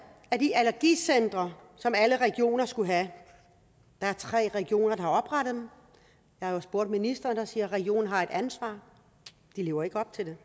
er de allergicentre som alle regioner skulle have der er tre regioner der har oprettet dem jeg har jo spurgt ministeren der siger at regionen har et ansvar de lever ikke op til det